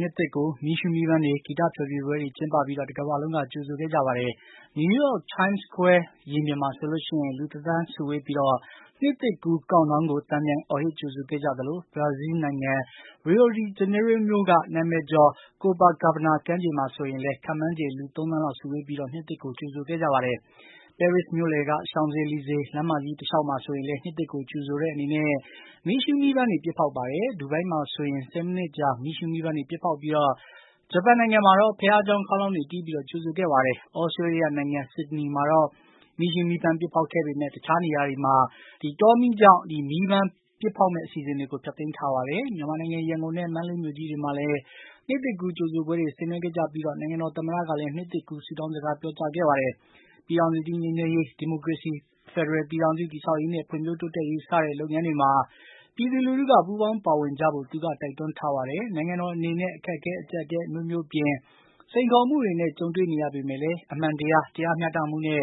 နှစ်သစ်ကို မီးရှုးမီးပန်းတွေ၊ ဂီတဖျော်ဖြေပွဲတွေ ကျင်းပပြီး တကမ္ဘာလုံးက ကြိုဆိုခဲ့ကြပါတယ်။ နယူးယောက် Time Square မှာဆိုရင် လူ တသန်းစုဝေးပြီး နှစ်သစ်ကူး cound down ကို သံပြိုင်အော်ဟစ် ကြိုဆိုခဲ့ကြသလို ဘရာဇီးနိုင်ငံ Rio de Janeiro မြို့က နာမည်ကျော် Copacabana ကမ်းခြေ မှာဆိုရင်လည်း လူ သန်းနဲ့ချီ စုဝေးပြီး နှစ်သစ်ကို ကြိုဆိုခဲ့ကြပါတယ်။ ပဲရစ်စ်မြို့လယ်က Champs-Elysees လမ်းမ တလျှောက်မှာဆိုရင်လည်း နှစ်သစ်ကို ကြိုဆိုတဲ့အနေနဲ့ မီးရှုးမီးပန်းတွေ ပစ်ဖောက်ခဲ့ပါတယ်။ ဒူဘိုင်းမှာဆိုရင် ၁၀ မိနစ်ကြာ မီးရှုးမီးပန်းတွေ ပစ်ဖေါက်ပြီး ဂျပန်နိုင်ငံမှာတော့ ဘုရားကျောင်း ခေါင်းလောင်တေ ွတီးပြီး ကြိုဆိုခဲ့ပါတယ်။ သြစတြေးလျနိုင်ငံ Sydney မှာတော့ မီးရှုးမီးပန်း ပစ်ဖေါက် ခဲ့ပေမယ့် တခြားနေရာတွေမှာတော့ တောမီးကြောင့် မီးရှုးမီးပန်း ပစ်ဖေါက်မယ့်အစီအစဉ်ကို ဖျက်သိမ်းလိုက်ရပါတယ်။ မြန်မာနိုင်ငံ ရန်ကုန်နဲ့ မန္တလေးမြို့ကြီးတွေမှာလည်း နှစ်သစ်ကူး ကြိုဆိုပွဲတွေ ဆင်နွှဲခဲ့ကြပြီး နိုင်ငံတော် သမ္မတကလည်း နှစ်သစ်ကူး ဆုတောင်းစကား ပြောကြားခဲ့ပါတယ်။ ပြည်ထောင်စုကြီး ငြိမ်းချမ်းရေး၊ ဒီမိုကရေစီ ဖက်ဒရယ်ပြည်ထောင်စု တည်ဆောက်ရေးနဲ့ ဖွံ့ဖြိုးတိုးတက်ရေး စတဲ့လုပ်ငန်းတွေမှာ ပြည်သူ လူထုက ပူးပေါင်း ပါဝင်ကြဖို့ သူက တိုက်တွန်းထားပါတယ်။ နိုင်ငံတော်အနေနဲ့ အခက်အခဲ၊ အကြပ်အတည်း အမျိုးမျိုးအပြင် စိန်ခေါ်မှုတွေနဲ့ ကြုံတွေ့နေရပေမယ့်လည်း အမှန်တရား၊ တရားမျှတမှုနဲ့